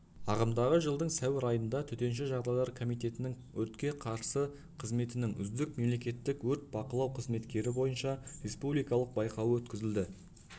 ағымдағы жылдың сәуір айында төтенше жағдайлар комитетінің өртке қарсы қызметінің үздік мемлекеттік өрт бақылау қызметкері бойынша республикалық байқауы өткізілді